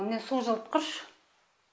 міне су жылытқыш